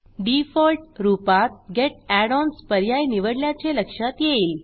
default रूपात get add ons पर्याय निवडल्याचे लक्षात येईल